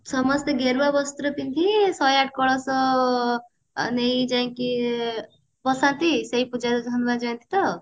ସମସ୍ତେ ଗେରୁଆ ବସ୍ତ୍ର ପିନ୍ଧି ଶହେ ଆଠ କଳସ ନେଇ ଯାଇଙ୍କି ସେଇ ପୂଜା ହନୁମାନ ଜୟନ୍ତୀ ତ